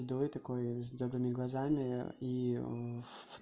давай такое с добрыми глазами и в